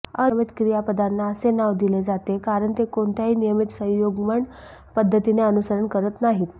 अनियमित क्रियापदांना असे नाव दिले जाते कारण ते कोणत्याही नियमित संयुग्मन पद्धतींचे अनुसरण करत नाहीत